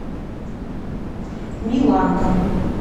миланка